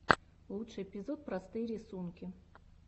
лучший эпизод простые рисунки